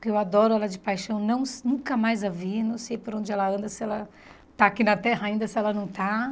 porque eu adoro ela de paixão, não nunca mais a vi, não sei por onde ela anda, se ela está aqui na Terra ainda, se ela não está.